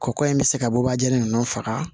Kɔkɔ in bɛ se ka bɔbaja ninnu faga